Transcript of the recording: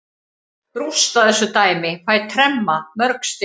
Rústa þessu dæmi, fæ tremma mörg stig.